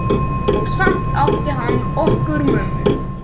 Og samt átti hann okkur mömmu.